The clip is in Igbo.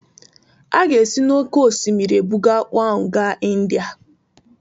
A ga-esi n'oké osimiri ebuga akpu ahụ gaa India